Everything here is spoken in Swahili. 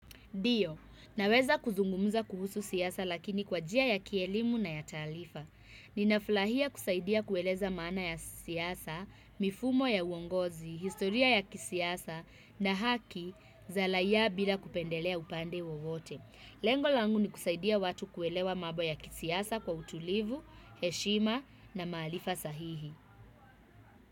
Ndiyo, naweza kuzungumza kuhusu siasa lakini kwa njia ya kielimu na ya taalifa. Ninafulahia kusaidia kueleza maana ya siasa, mifumo ya uongozi, historia ya kisiasa na haki za laia bila kupendelea upande wowote. Lengo langu ni kusaidia watu kuelewa mambo ya kisiasa kwa utulivu, heshima na maalifa sahihi.